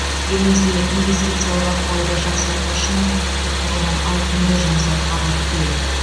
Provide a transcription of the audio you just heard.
елімізде инвестициялық ахуалды жақсарту үшін құқықтық тұрғыдан ауқымды жұмыс атқарылып келеді